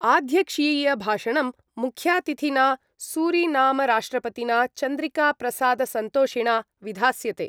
आध्यक्ष्यीयभाषणं मुख्यातिथिना सूरीनामराष्ट्रपतिना चन्द्रिकाप्रसादसन्तोषिणा विधास्यते।